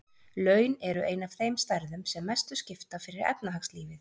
Laun eru ein af þeim stærðum sem mestu skipta fyrir efnahagslífið.